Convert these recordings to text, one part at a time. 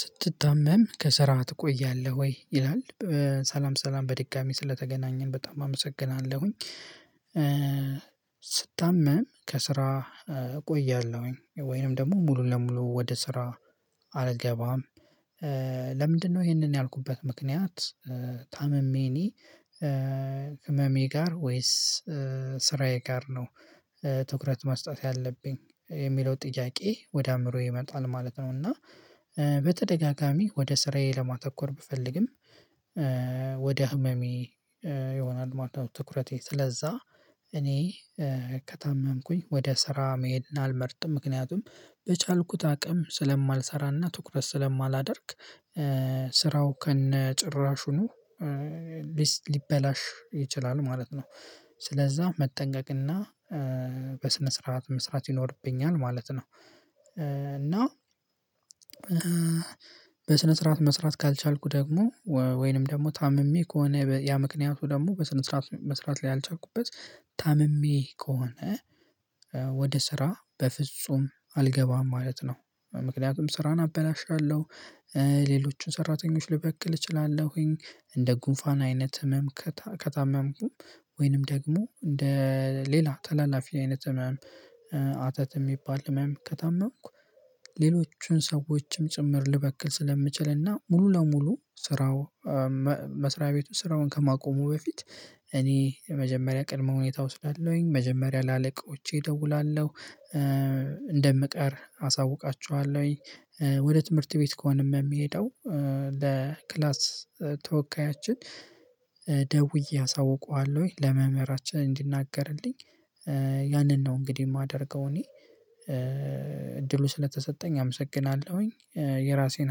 ስትታመም ከስራ ትቆያለህ ወይ ይላል? ሰላም ሰላም በድጋሜ ስለተገናኘን በጣም አመሰግናለሁኝ። ስታመም ከስራ እቆያለሁኝ ወይንም ደግሞ ሙሉ ለሙሉ ወደ ስራ አልገባም። ለምንድነው ይሄንን ያልኩበት ምክንያት? ታምሜ እኔ ህመሜ ጋር ወይስ ስራዬ ጋር ነው? ትኩረት መስጠት ያለብኝ የሚለው ጥያቄ ወደ አእምሮዬ ይመጣል ማለት ነው። እና በተደጋጋሚ ወደ ስራዬ ለማተኮር ብፈልግም። ወደ ህመሜ ይሆናል ማለት ትኩረቴ ስለዛ። እኔ ከታመምኩኝ ወደ ስራ መሄድና አልመርጥም። ምክንያቱም በቻልኩት አቅም ስለማልሰራና ትኩረት ስለማላደርግ። ስራው ከነጭራሹኑ ሊበላሽ ይችላል ማለት ነው። ስለዛ መጠንቀቅና በስነ ስርዓት መስራት ይኖርብኛል ማለት ነው። እና በስነ ስርዓት መስራት ካልቻልኩ ደግሞ ወይንም ደግሞ ታምሜ ከሆነ ያ ምክንያቱ ደግሞ በስነ ስርዓት መስራት ላይ ያልቻልኩበት ታምሜ ከሆነ። ወደ ስራ በፍጹም አልገባም ማለት ነው ምክንያቱም ስራን አበላሻለሁ። ሌሎችን ሰራተኞች ልበክል እችላለሁኝ እንደ ጉንፋን አይነት ህመም ከታመምኩም። ወይንም ደግሞ እንደ ሌላ ተላላፊ አይነት ህመም። አተት እሚባል ህመም ከታመምኩ ሌሎቹን ሰዎችም ጭምር ልበክል ስለምችል እና ሙሉ ለሙሉ ስራው። መስሪያ ቤቱን ስራውን ከማቆሙ በፊት እኔ መጀመሪያ ቅድመ ሁኔታ እወስዳለሁኝ መጀመሪያ ለአለቃወቸ እደውላለሁ። እንደምቀር አሳውቃችኋለሁኝ። ወደ ትምህርት ቤት ከሆነም ሚሄደው ለ ክላስ ተወካያችን። ደውዬ አሳውቀዋለሁ ወይ ለመምህራችን እንዲናገርልኝ። ያንን ነው እንግዲህ ማደርገው እኔ እድሉ ስለተሰጠኝ አመሰግናለሁኝ። የራሴን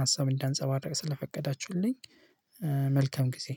ሀሳብ እንዳንፀባረቅ ስለፈቀዳችሁልኝ። መልካም ጊዜ።